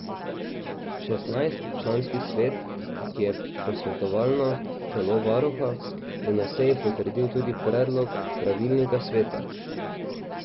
Šestnajstčlanski svet, ki je posvetovalno telo varuha, je na seji potrdil tudi predlog pravilnika sveta.